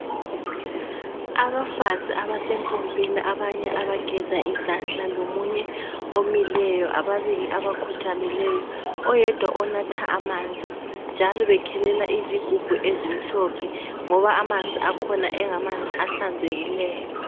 Abafazi abasempompini abanye abageza izandla lomunye omileyo ababili abakhothamileyi oyedwa onatha amanzi njalo ekhelela izigubhu ezimhlophe ngoba amanzi akhona engamanzi ahlanzekileyo.